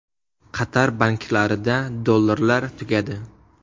Qatar banklarida dollarlar tugadi.